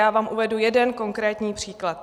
Já vám uvedu jeden konkrétní příklad.